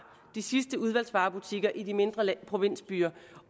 de sidste udvalgsvarebutikker i de mindre provinsbyer